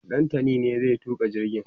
Ɗantani ne zai tuka jirgin